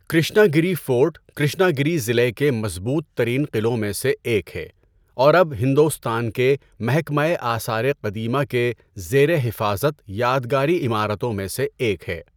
کرشنا گری fort Krishnagiri ضلع کے مضبوط ترین قلعوں میں سے ایک ہے اور اب ہندوستان کے محکمۂ آثارِ قدیمہ کے زیر حفاظت یادگاری عمارتوں میں سے ایک ہے۔